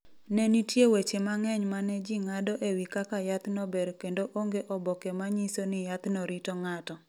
Ne nitie weche mang’eny ma ne ji ng’ado e wi kaka yathno ber kendo onge oboke ma nyiso ni yathno rito ng’ato.